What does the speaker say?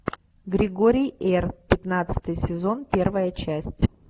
григорий р пятнадцатый сезон первая часть